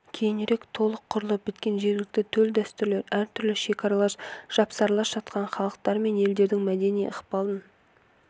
кейінірек толық құралып біткен жергілікті төл дәстүрлер әртүрлі шекаралас жапсарлас жатқан халықтар мен елдердің мәдени ықпалын